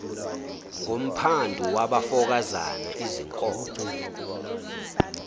ngumphandu wabafokazana izinkomo